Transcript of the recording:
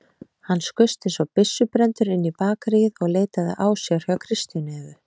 Hann skaust einsog byssubrenndur inn í bakaríið og leitaði ásjár hjá Kristínu Evu.